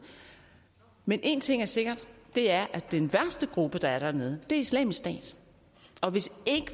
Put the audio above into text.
men en ting er sikkert og det er at den værste gruppe der er dernede er islamisk stat og hvis